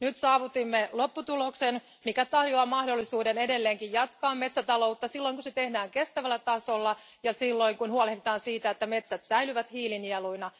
Nyt saavutimme lopputuloksen, mikä tarjoaa mahdollisuuden edelleenkin jatkaa metsätaloutta silloin, kun se tehdään kestävällä tasolla, ja silloin, kun huolehditaan siitä, että metsät säilyvät hiilinieluina.